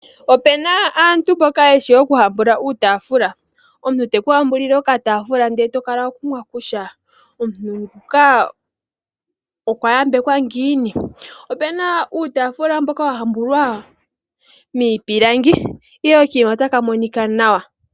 Ope na aantu mboka yeshi okuhambula uutafula. Omuntu te ku hambulile okatafula ndele to kala wa kumwa, kutya omuntu nguka okwa yambekwa ngiini. Ope na uutafula mboka wa hambulwa miipilangi ihe okanima otaka monika nawa.